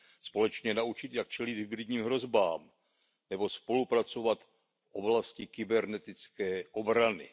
společně naučit, jak čelit hybridním hrozbám nebo spolupracovat v oblasti kybernetické obrany.